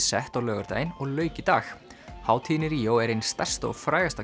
sett á laugardaginn og lauk í dag hátíðin í Ríó er ein stærsta og frægasta